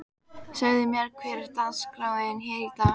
Segðu mér, hver er dagskráin hér í dag?